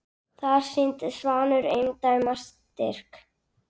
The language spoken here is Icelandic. Þar sýndi Svanur eindæma styrk.